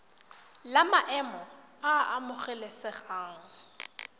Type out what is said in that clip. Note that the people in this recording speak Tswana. la maemo a a amogelesegang